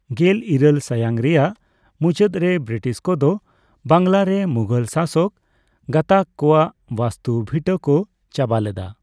ᱜᱮᱞ ᱤᱨᱟᱹᱞ ᱥᱟᱭᱟᱝ ᱨᱮᱭᱟᱜ ᱢᱩᱪᱟᱹᱫ ᱨᱮ, ᱵᱨᱤᱴᱤᱥ ᱠᱚᱫᱚ ᱵᱟᱝᱞᱟ ᱨᱮ ᱢᱩᱜᱷᱚᱞ ᱥᱟᱥᱚᱠ ᱜᱟᱸᱛᱟᱠ ᱠᱚᱣᱟᱜ ᱵᱟᱥᱛᱩ ᱵᱷᱤᱴᱟᱹ ᱠᱚ ᱪᱟᱵᱟ ᱞᱮᱫᱟ ᱾